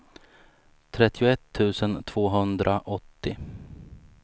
trettioett tusen tvåhundraåttio